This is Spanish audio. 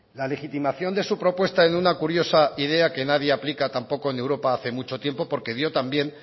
la legitimación de su propuesta en una curiosa idea que nadie aplica tampoco en europa hace mucho tiempo porque dio también